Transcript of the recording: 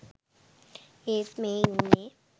ඒත් මේ ඉන්නේ